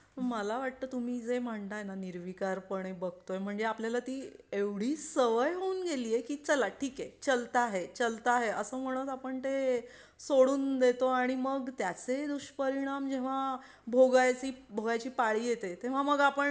मला वाटतं तुम्ही जे म्हणताय निर्विकार पणे बघतो म्हणजे आपल्याला ती एवढी सवय होऊन गेली की चला ठीक आहे चलता है चलता है असं म्हणत आपण ते सोडून देतो आणि मग त्याचे दुष्परिणाम जेव्हा भोगाव्याची भोगाव्याची पाळी येते तेव्हा मग आपण